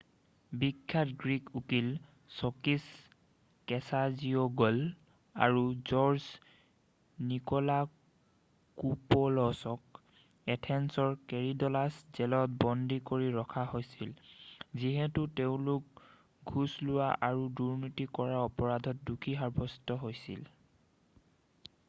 বিখ্যাত গ্ৰীক উকীল Sakis Kechagioglou' আৰু জৰ্জ নিক'লাকোপৌলছক এথেন্সৰ কৰিডলাছ জেলত বন্দী কৰি ৰখা হৈছিল যিহেতু তেওঁলোক ঘোচ লোৱা আৰু দুৰ্ণীতি কৰাৰ অপৰাধত দোষী সাব্যস্ত হৈছিল